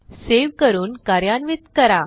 save करून कार्यान्वित करा